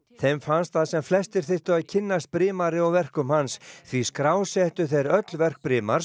þeim fannst að sem flestir þyrftu að kynnast brimari og verkum hans því skrásettu þeir öll verk